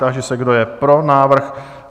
Táži se, kdo je pro návrh?